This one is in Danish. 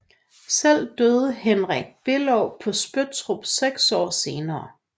Selv døde Henrik Below på Spøttrup 6 år senere